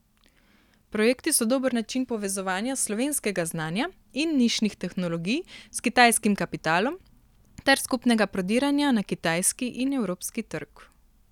Projekti so dober način povezovanja slovenskega znanja in nišnih tehnologij s kitajskim kapitalom ter skupnega prodiranja na kitajski in evropski trg.